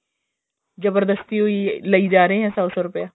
ਜਬਰਦਸਤੀ ਓ ਲਈ ਜਾ ਰਹੇ ਐ ਸੋ ਸੋ ਰੁਪਿਆ